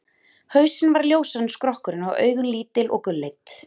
Hausinn var ljósari en skrokkurinn og augun lítil og gulleit.